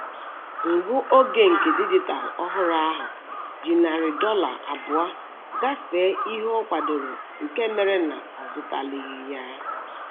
Ngụ oge nke dijitalụ ọhụrụ ahụ ji narị dọla abụọ gafee ihe ọ kwadoro nke mere na ọ zụtalighị ya